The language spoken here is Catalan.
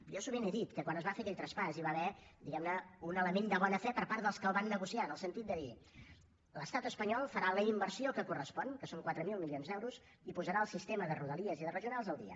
jo sovint he dit que quan es va fer aquell traspàs i va haver diguem ne un element de bona fe per part dels que el van negociar en el sentit de dir l’estat espanyol farà la inversió que correspon que són quatre mil milions d’euros i posarà el sistema de rodalies i de regionals al dia